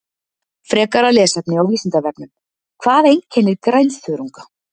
Frekara lesefni á Vísindavefnum: Hvað einkennir grænþörunga?